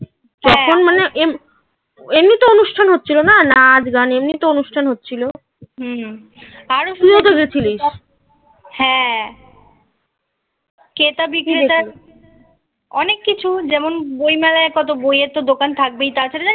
নাচ গান এমনি তো অনুষ্ঠান হচ্ছিলো না নাচ, গান, এমনি তো অনুষ্ঠান হচ্ছিলো. হুম হুম আরো তুইও তো গেছিলিস. হ্যাঁ সেটা বিক্রেতার অনেক কিছু যেমন বইমেলায় কত বইয়ের তো দোকান থাকবেই তাছাড়া জানিস